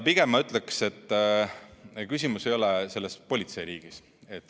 Pigem ma ütleksin, et küsimus ei ole selles politseiriigis.